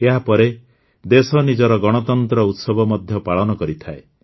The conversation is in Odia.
ଏହାପରେ ଦେଶ ନିଜର ଗଣତନ୍ତ୍ର ଉତ୍ସବ ମଧ୍ୟ ପାଳନ କରିଥାଏ